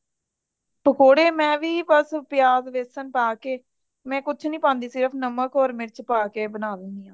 ਪਕੌੜੇ ਮੈਂ ਵੀ ਬੱਸ ਪਿਆਜ ਬੇਸਨ ਪਾਕੇ ਮੈਂ ਕੁਛ ਨਹੀਂ ਪਾਂਦੀ ਸਿਰਫ ਨਾਮਕ ਹੋਰ ਮਿਰਚ ਪਾਕੇ ਬਾਨਾਂ ਦੇਣੀ ਹਾਂ